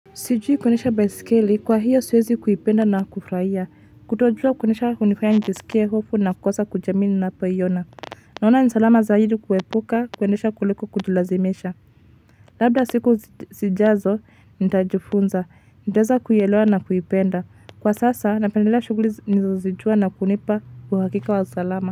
Sijui kuendesha baisikeli, kwa hiyo siwezi kuipenda na kufurahia. Kutojua kuendesha, hunifanya nijisikie hofu, na kukosa kujiamini ninapoiona. Naona ni salama zaidi kuepuka kuendesha kuliko kujilazimisha. Labda siku zijazo, nitajifunza, nitaweza kuielewa na kuipenda. Kwa sasa, napendelea shughuli nilizozijua, na kunipa uhakika wa usalama.